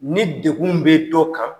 Ni degkun bɛ dɔ kan,